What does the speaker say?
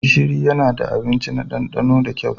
Gishiri yana da abinci na ɗandano da kyau.